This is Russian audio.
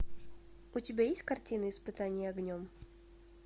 у тебя есть картина испытание огнем